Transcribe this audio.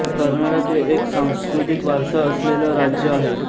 कर्नाटक हे एक सांस्कृतिक वारसा असलेल राज्य आहे